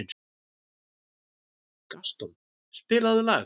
Gaston, spilaðu lag.